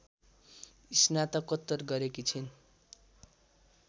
स्नातकोत्तर गरेकी छन्